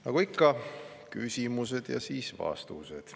Nagu ikka, küsimused ja siis vastused.